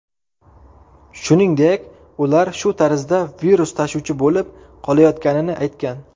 Shuningdek, ular shu tarzda virus tashuvchi bo‘lib qolayotganini aytgan.